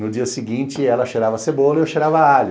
No dia seguinte, ela cheirava à cebola e eu cheirava a alho.